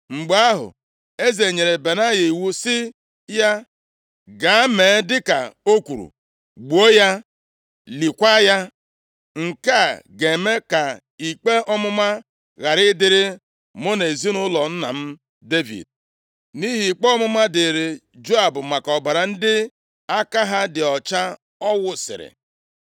Mgbe ahụ, eze nyere Benaya iwu sị ya, “Gaa mee dịka o kwuru. Gbuo ya, liekwa ya. Nke a ga-eme ka ikpe ọmụma ghara ịdịrị mụ na ezinaụlọ nna m Devid nʼihi ikpe ọmụma dịrị Joab maka ọbara ndị aka ha dị ọcha ọ wụsiri.